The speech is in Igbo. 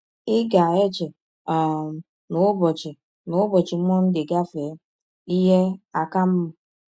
“ Ị ga - eche um na ụbọchị na ụbọchị Mọnde gafee, ihe aka mma.